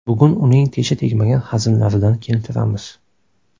Bugun uning tesha tegmagan hazillaridan keltiramiz.